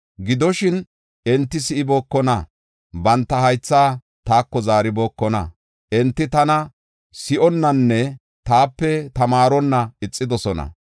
Gidoshin, enti si7ibookona; banta haythaa taako zaaribookona. Enti tana si7onnanne taape tamaaronna ixidosona.